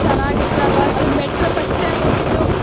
ಚೆನ್ನಾಗಿತ್ತು ಅಲ್ವಾ ಅದು metro first time ಹೋಗಿದ್ದು.